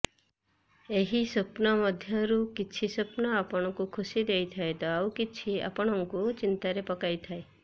ଏହି ସ୍ୱପ୍ନ ମଧ୍ୟରୁ କିଛି ସ୍ୱପ୍ନ ଆପଣଙ୍କୁ ଖୁସି ଦେଇଥାଏ ତ ଆଉ କିଛି ଆପଣଙ୍କୁ ଚିନ୍ତାରେ ପକାଇଥାଏ